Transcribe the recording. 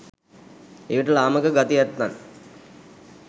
එවිට ලාමක ගති ඇත්තන්